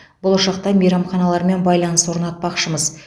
болашақта мейрамханалармен байланыс орнатпақшымыз